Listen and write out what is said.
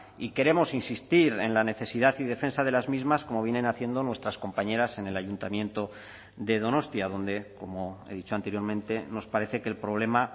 y queremos insistir en la necesidad y defensa de las mismas como vienen haciendo nuestras compañeras en el ayuntamiento de donostia donde como he dicho anteriormente nos parece que el problema